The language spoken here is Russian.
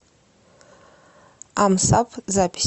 амсаб запись